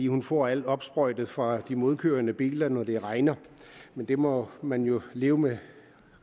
hun får alt opsprøjtet fra de modkørende biler når det regner men det må man jo leve med